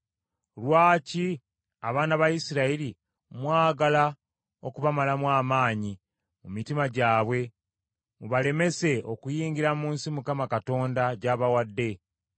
Lwaki abaana ba Isirayiri mwagala okubamalamu amaanyi mu mitima gyabwe mubalemese okuyingira mu nsi Mukama Katonda gy’abawadde?